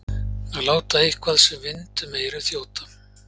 Að láta eitthvað sem vind um eyrun þjóta